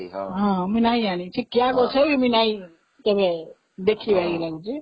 ହଁ, ମୁଁ ନାଇଁ ଜାଣିସେ କିଆଗଛ ବି ନାହିଁ ଦେଖିବାର ଲାଗି